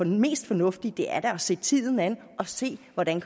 mest fornuftigt at se tiden an og se hvordan